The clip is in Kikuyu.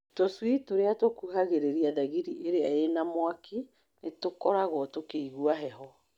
Tũcui tũrĩa tũkuhagĩrĩria thagiri ĩrĩa ĩna mwaki nĩ tũkoragwo tũkĩigua heho.